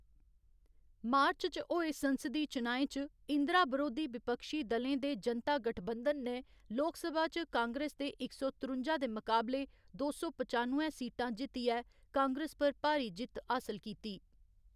मार्च च होए संसदीय चुनाएं च, इंदिरा बरोधी विपक्षी दलें दे जनता गठबंधन ने लोकसभा च कांग्रेस दे इक सौ त्रुंजा दे मकाबले दो सौ पचानुए सीटां जित्तियै कांग्रेस पर भारी जित्त हासल कीती।